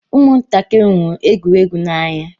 Ụmụ ntakịrị hụrụ egwuregwu n'anya.